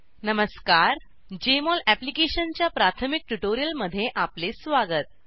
नमस्कार जेएमओल अप्लिकेशनच्या प्राथमिक ट्यूटोरियलमध्ये आपले स्वागत